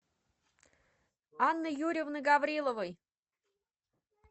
анны юрьевны гавриловой